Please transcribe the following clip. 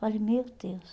Falei, meu Deus.